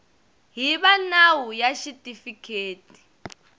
hi va nawu ya xitifiketi